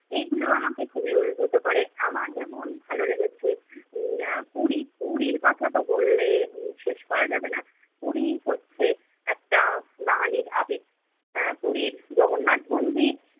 এইগুলো আমাকে খুবই অভিভূত করে। আমার যেমন ভালো লেগেছে উম আহ পুরী, পুরীর কথা তো বললে শেষ করা যাবে না। পুরী হচ্ছে একটা বাঙালির আবেগ। আহ পুরীর জগন্নাথ মন্দির